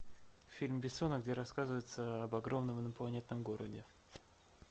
фильм бессона где рассказывается об огромном инопланетном городе